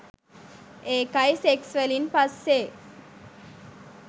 ඒකයි සෙක්ස් වලින් පස්සේ